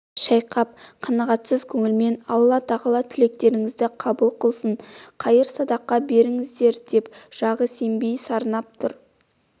шайқап қанағатсыз көңілмен алла тағала тілектеріңізді қабыл қылсын қайыр-садақа беріңіздер деп жағы сембей сарнап тұр